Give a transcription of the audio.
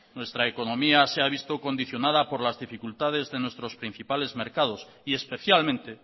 nuestra economía se ha visto condicionada por las dificultades de nuestros principales mercados y especialmente